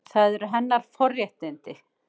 Það eru hennar forréttindi.